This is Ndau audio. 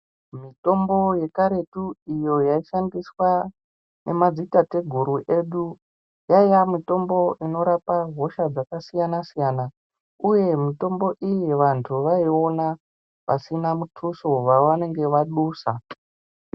Mitombo yekaretu iyo yaishandiswa nemadzitateguru edu yaiya mitombo inorapa hosha dzakasiyana-siyana, uye mitombo iyi vantu vaiona pasina mutuso vavanenge vadusa.